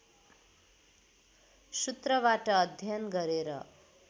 सूत्रबाट अध्ययन गरेर